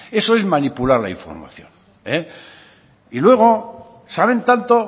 eso es manipular la información y luego saben tanto